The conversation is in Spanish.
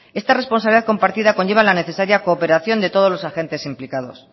esta responsabilidad compartida conlleva la necesaria cooperación de todos los agentes implicados